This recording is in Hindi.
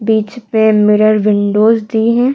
बीच में मिरर विंडोज दी है।